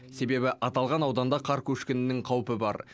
себебі аталған ауданда қар көшкінінің қаупі бар